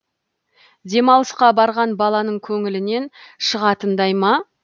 демалысқа барған баланың көңілінен шығатындай ма